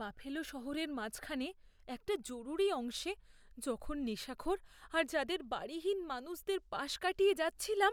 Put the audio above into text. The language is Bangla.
বাফেলো শহরের মাঝখানে একটা জরুরি অংশে যখন নেশাখোর আর যাদের বাড়িহীন মানুষদের পাশ কাটিয়ে যাচ্ছিলাম,